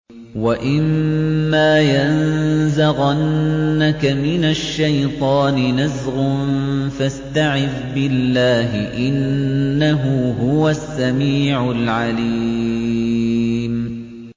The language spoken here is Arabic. وَإِمَّا يَنزَغَنَّكَ مِنَ الشَّيْطَانِ نَزْغٌ فَاسْتَعِذْ بِاللَّهِ ۖ إِنَّهُ هُوَ السَّمِيعُ الْعَلِيمُ